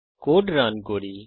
code run করি